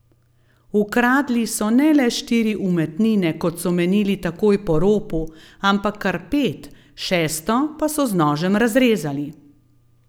Ukradli so ne le štiri umetnine, kot so menili takoj po ropu, ampak kar pet, šesto pa so z nožem razrezali.